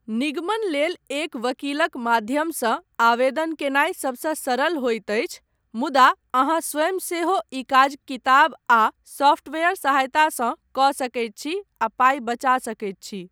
निगमन लेल एक वकीलक माध्यमसँ आवेदन कयनाइ सबसँ सरल होइत अछि मुदा अहाँ स्वयँ सेहो ई काज किताब आ सॉफ्टवेयर सहायतसँ कऽ सकैत छी आ पाइ बचा सकैत छी।